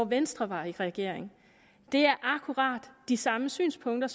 venstre var i regering det er akkurat de samme synspunkter